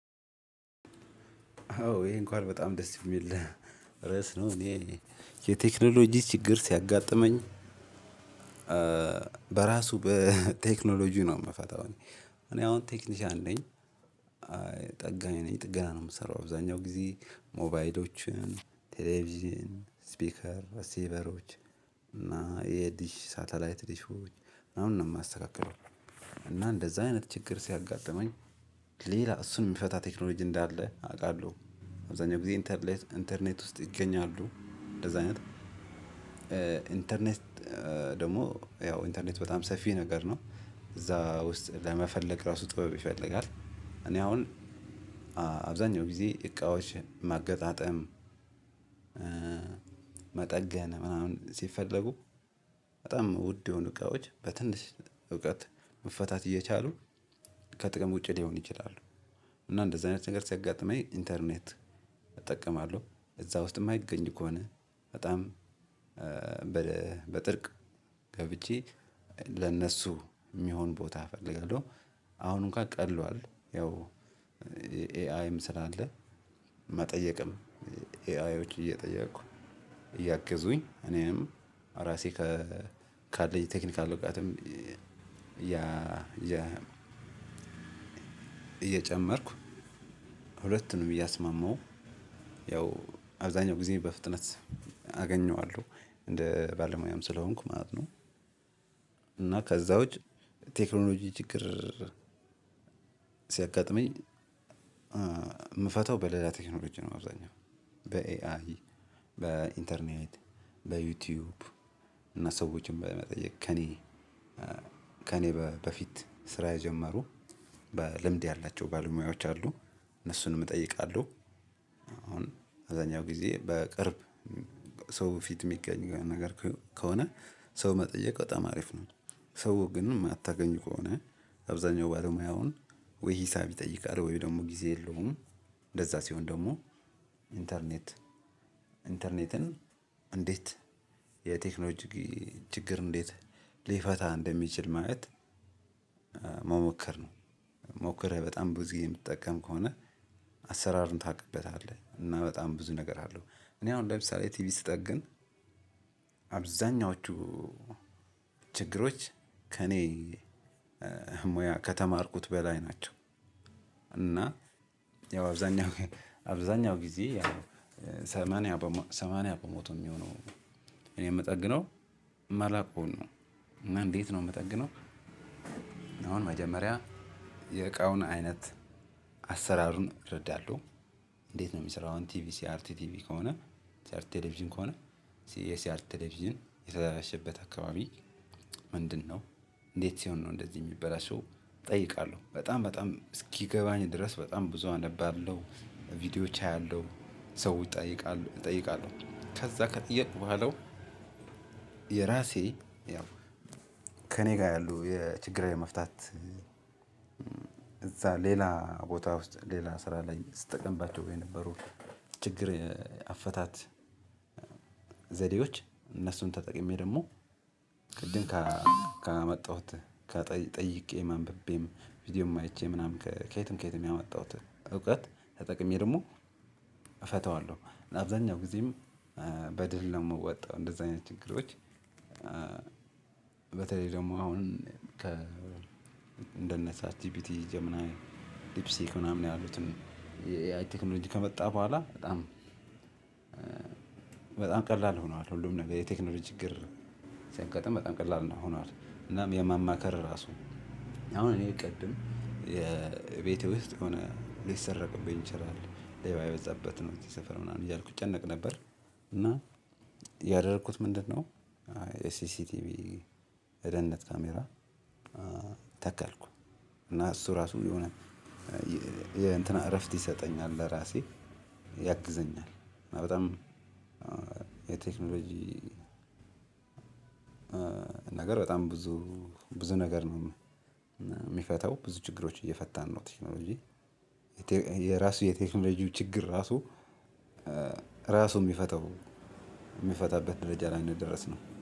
አዎ ይሄን እንኳን በጣም ደስ የሚል ርዕስ ነው። እኔ የቴክኖሎጂ ችግር ሲያጋጥመኝ በራሱ በቴክኖሎጂ ነው የምፈታው። እኔ እኔ አሁን ቴክኒሻን ነኝ። ጠጋኝ ነኝ ጥገና ነው የምሰራው አብዛኛውን ጊዜ ሞባይሎችን ቴሌቪዥን ስፒከር ሪሲቨሮች እና የዲሽ ሳተላይት ዲሾች ምናምን ነው የማስተካክለው። እና እንደዛ አይነት ችግር ሲያጋጥመኝ ሌላ እሱን የሚፈታ ቴክኖሎጂ እንዳለ አውቃለሁ አብዛኛው ጊዜ ኢንተርኔት ኢንተርኔት ውስጥ ይገኛሉ። እንደዛ አይነት ኢንተርኔት ደግሞ ያው ኢንተርኔት በጣም ሰፊ ነገር ነው እዛ ውስጥ ለመፈለግ ራሱ ጥበብ ይፈልጋል። እኔ አሁን አብዛኛው ጊዜ እቃዎች ማገጣጠም መጠገን ምናምን ሲፈለጉ በጣም ውድ የሆኑ እቃዎች በትንሽ እውቀት መፈታት እየቻሉ ከጥቅም ውጪ ሊሆን ይችላሉ። እና እንደዚህ አይነት ነገር ሲያጋጥመኝ ኢንተርኔት እጠቀማለሁ እዛ ውስጥም እማይገኝ ከሆነ በጣም በጥርቅ ገብቼ ለነሱ የሚሆን ቦታ እፈልጋለሁ። አሁን እንኳን ቀሏል ያው ኤአይም ስላለ መጠየቅም ኤአይዎች እየጠየኩኝ እያገዙኝ እኔንም ራሴ ከ ካለኝ ቴክኒካል እውቀትም ያ እየጨመርኩ ሁለቱንም እያስማማሁ ያው አብዛኛው ጊዜ በፍጥነት አገኘዋለሁ እንደ ባለሙያም ስለሆንኩ ማለት ነው። እና ከዛ ውጪ ቴክኖሎጂ ችግር ሲያጋጥመኝ እምፈታው በሌላ ቴክኖሎጂ ነው። አብዛኛውን በኤአይ በኢንተርኔት በዩቲዩብ እና ሰዎችን በመጠየቅ ከእኔ ከእኔ በፊት ስራ የጀመሩ ልምድ ያላቸው ባለሙያዎች አሉ እነሱንም እጠይቃለሁ። አሁን አብዛኛው ጊዜ በቅርብ ሰው ፊት የሚገኝ ነገር ከሆነ ሰው መጠየቅ በጣም አሪፍ ነው። ሰው ግን የማታገኝ ከሆነ አብዛኛው ባለሙያ አሁን ወይ ሂሳብ ይጠይቃል ወይ ደግሞ ጊዜ የለውም። እንደዛ ሲሆን ደግሞ ኢንተርኔት ኢንተርኔትን እንዴት የቴክኖሎጂ ችግር እንዴት ሊፈታ እንደሚችል ማየት መሞከር ነው። ሞክሬ በጣም ብዙ የምትጠቀም ከሆነ አሰራርን ታቅበታለህ እና በጣም ብዙ ነገር አለው። እኔ አሁን ለምሳሌ ቲቪ ስጠግን አብዛኛዎቹ ችግሮች ከእኔ ሙያ ከተማርኩት በላይ ናቸው። እና ያው አብዛኛው አብዛኛው ጊዜ ሰማንያ በሞቶ የሚሆነው እኔ የምጠግነው እማላዉቀዉን ነው። እና እንዴት ነው የምጠግነው? አሁን መጀመሪያ የእቃውን አይነት አሰራሩን እረዳለሁ። እንዴት ነው የሚሰራው አሁን ቲቪ ሲአርቲ ቲቪ ከሆነ ሲአርቲ ቴሌቪዥን ከሆነ የሲአርቲ ቴሌቪዥን የተበላሸበት አካባቢ ምንድነው? እንዴት ሲሆን ነው እንደዚህ የሚበላሸው። እጠይቃለሁ በጣም በጣም እስኪገባኝ ድረስ በጣም ብዙ አነባለሁ ቪዲዮዎች አያለሁ ሰው እጠይቃለሁ ከዛ ከጠየቅኩ በኋላው የራሴ ያው ከእኔ ጋር ያሉ የችግራዊ መፍታት እዛ ሌላ ቦታ ውስጥ ሌላ ስራ ላይ ስትጠቀምባቸው የነበሩ ችግር አፈታት። ዘዴዎች እነሱን ተጠቅሜ ደግሞ ቅድም ካመጣሁት ጠይቄ አምብቤም ቪዲዮ አይቼ ምናምን ከየትም ከየትም ያመጣሁት እውቀት ተጠቅሜ ደግሞ እፈታዋለሁ። አብዛኛው ጊዜም በድል ነው የምወጣው እንደዛ አይነት ችግሮች። በተለይ ደግሞ አሁን እነደነ ቻት ጅፒቲ ጀሚናይ ዲፕ ሲክ ምናምን ያሉትን ኤአይ ቴክኖሎጂ ከመጣ በኋላ በጣም ቀላል ሆኗል። ሁሉም ነገር የቴክኖሎጂ ችግር ሲያጋጥም በጣም ቀላል ነው ሆኗል። እናም የማማከር ራሱ አሁን እኔ ቅድም የቤት ውስጥ የሆነ ሊሰረቅብኝ ይችላል ሌባ የበዙበት ነው እዚህ ሰፈር ምናምን እያልኩ እጨነቅ ነበር። እና ያደረኩት ምንድነው? ኤሲሲ ቲቪ የደህንነት ካሜራ ተከልኩ እና እሱ እራሱ የሆነ እረፍት ይሰጠኛል። ለራሴ ያግዘኛል። እና በጣም የቴክኖሎጂ ነገር በጣም ብዙ ብዙ ነገር ነው። የሚፈታው ብዙ ችግሮች እየፈታን ነው ቴክኖሎጂ የራሱ የቴክኖሎጂው ችግር ራሱ ራሱ የሚፈተው የሚፈታበት ደረጃ ላይ የደረስነው